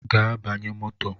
Gaa banye moto!